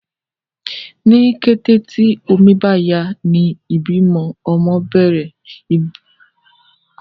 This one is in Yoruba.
ní kété tí omí bá yá ní ibí ọmọ bèrè